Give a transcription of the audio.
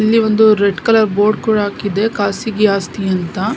ಅಲ್ಲಿ ಒಂದು red colour board ಕೂಡ ಹಾಕಿದೆ ಖಾಸಗಿ ಆಸ್ತಿ ಅಂತ-